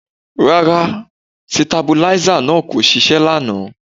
Rárá sitabuláísà náà kò ṣiṣẹ́ lánàá